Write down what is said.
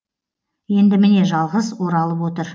енді міне жалғыз оралып отыр